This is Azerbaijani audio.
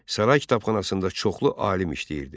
Saray kitabxanasında çoxlu alim işləyirdi.